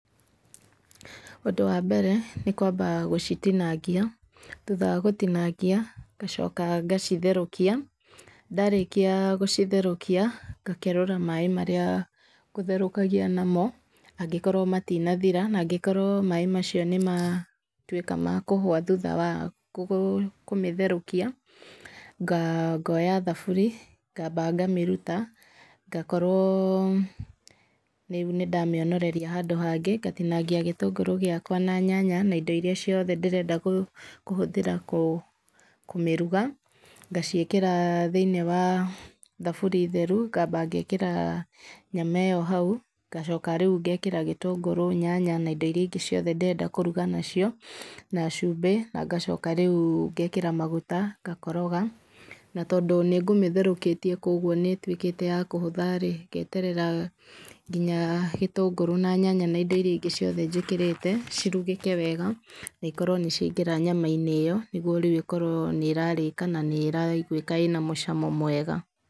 Ũndũ wa mbere nĩkwamba gũcitinangia thutha wa gũtinangia ngacoka ngacitherũkia, ndarĩkia gũcitherũkia ngakerũra maaĩ marĩa ngũtherũkagia namo angĩkorwo matinathira. Na angĩkorwo maaĩ macio nĩmatuĩka ma kũhwa thutha wa kũmĩtherũkia nga ngoya thaburi ngamba ngamĩruta ngakorwo rĩu nĩndamĩonoreria handũ hangĩ. Ngatinangia gĩtũngũrũ gĩakwa na nyanya na indo iria ingĩ ciothe ndĩrenda kũhũthĩra kũmĩruga ngaciĩkĩra thĩinĩ wa thaburi theru, ngamba ngekĩra nyama ĩno hau ngacoka ngekĩra gĩtũngũrũ na nyanya na indo iria ingĩ ndĩrenda kũruga nacio na cumbĩ nangacoka rĩu ngekĩra maguta ngakoroga. Na tondũ nĩngũmĩtherũkĩtie koguo nĩ ĩtuĩkĩte ya kũhũtha-rĩ ngeterera nginya gĩtũngũrũ na nyanya na indo iria ingĩ njĩkĩrire cirugĩke wega, na ikorwo nĩciaingĩra nyama-inĩ ĩyo nĩguo rĩu ĩkorwo nĩ ĩrarĩka na nĩĩraiguĩka ĩna mũcamo mwega.